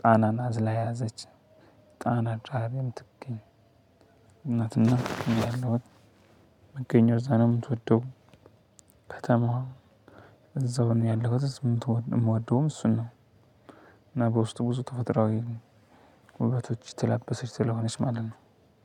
ጣናን አዝላ የያዘች ጣና ዳር የምትገኝ። እኔ ያለሁት መገኘት እዛ ነው። የምትወደው ከተማዋ እዛው ነው ያለሁት ዝም ትወደው የምወደውም እሱን ነው። እና በውስጡ ብዙ ተፈጥሮአዊ ውበቶች የተላበሰች ስለሆነች ማለት ነው።